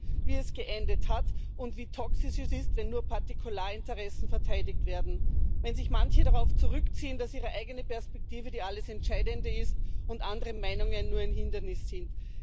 Man sieht, wie es geendet hat und wie toxisch es ist, wenn nur Partikularinteressen verteidigt werden, wenn sich manche darauf zurückziehen, dass ihre eigene Perspektive die alles entscheidende ist und andere Meinungen nur ein Hindernis sind.